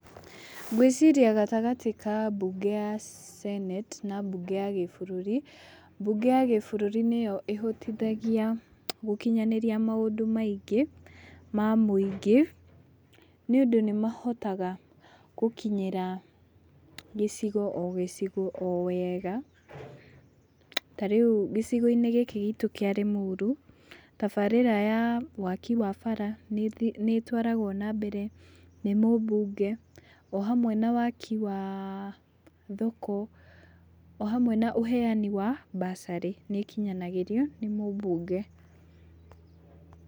Ngwĩciria gatagatĩ ka mbunge ya senate na mbunge ya gĩ-bũrũri, mbunge ya gĩ-bũrũri nĩyo ĩhotithagia gũkinyanĩria maũndũ maingĩ ma mũingĩ, nĩ ũndũ nĩ mahotaga gũkinyĩra gĩcigo o gĩcigo o wega. Ta rĩu gĩcigo-inĩ gĩkĩ gitũ kĩa Limuru, tabarĩra ya waaki wa bara nĩ ĩtwaragwo na mbere nĩ mũmbunge o hamwe na waaki wa thoko,o hamwe na ũheani wa bursary ,nĩ ĩkinyanagĩrio nĩ mũmbunge.